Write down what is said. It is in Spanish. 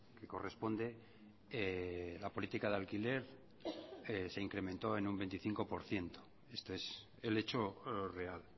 que corresponde la política de alquiler se incremento en un veinticinco por ciento esto es el hecho real